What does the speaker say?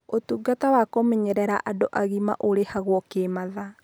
Ũtungata wa kũmenyerera andũ agima ũrĩhagwo kĩ mathaa.